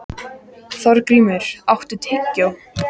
Þorgrímur, áttu tyggjó?